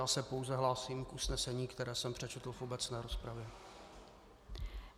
Já se pouze hlásím k usnesení, které jsem přečetl v obecné rozpravě.